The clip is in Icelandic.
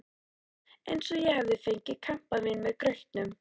Eins og ég hefði fengið kampavín með grautnum.